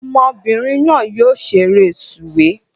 Ọmọbìnrin náà yóò ṣeré sùwé